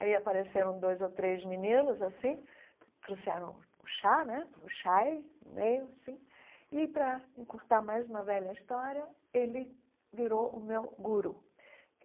Aí apareceram dois ou três meninos assim, trouxeram o chá né, o chai no meio assim, e para encurtar mais uma velha história, ele virou o meu guru.